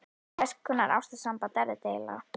Hvers konar ástarsamband er þetta eiginlega?